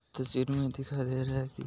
ये तस्वीर में दिखाई दे रहा है की--